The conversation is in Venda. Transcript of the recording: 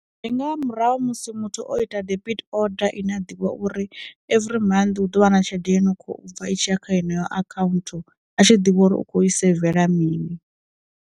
Ndi nga murahu ha musi muthu o ita debit oda ine a ḓivha uri every month hu ḓo vha na tshelede yo no kho bva itshiya kha yeneyo akhaunthu a tshi ḓivha uri u khou seivela mini.